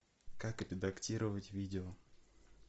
как редактировать видео